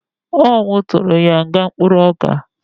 Ọ mu tụrụ ya nga mkpụrụoka